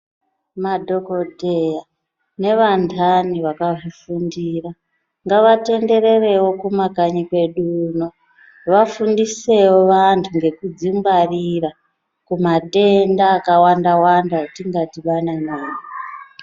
Madhokoteya nevantani vakazvifundira ngavatendererewo kumakanyi kwedu uno vafundisewo vantu ngekudzigwaririra kumatenda akawanda wanda atingadhibana nawo unono.